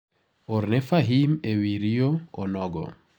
orne Fahim ewi rio onogo.